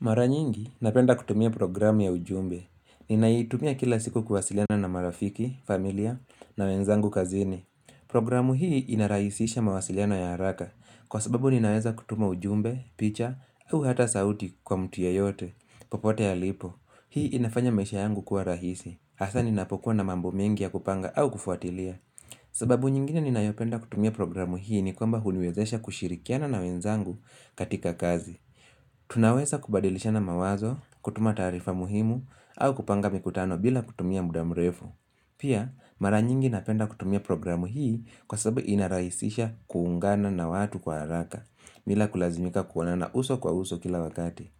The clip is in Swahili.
Mara nyingi napenda kutumia programu ya ujumbe ninaitumia kila siku kuwasiliana na marafiki familia na wenzangu kazini programu hii inarahisisha mawasiliano ya haraka kwa sababu ninaweza kutuma ujumbe picha au hata sauti kwa mtu yoyote popote alipo hii inafanya maisha yangu kuwa rahisi hasa ninapokuwa na mambo mengi ya kupanga au kufuatilia sababu nyingine ninayopenda kutumia programu hii ni kwamba huniwezesha kushirikiana na wenzangu katika kazi tunaweza kubadilishana mawazo kutuma taarifa muhimu au kupanga mikutano bila kutumia muda mrefu pia mara nyingi napenda kutumia programu hii kwa sababu inaraisisha kuungana na watu kwa haraka bila kulazimika kuonana uso kwa uso kila wakati